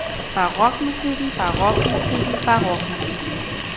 barokmusikken barokmusikken barokmusikken